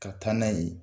Ka taa n'a ye